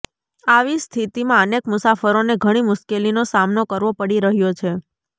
આવી સ્થિતિમાં અનેક મુસાફરોને ઘણી મુશ્કેલીનો સામનો કરવો પડી રહ્યો છે